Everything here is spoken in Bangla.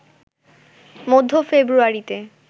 মধ্য ফেব্রুয়ারিতে